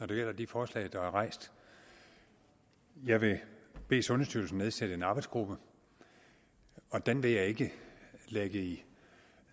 det gælder de forslag der er rejst jeg vil bede sundhedsstyrelsen nedsætte en arbejdsgruppe og den vil jeg ikke lægge i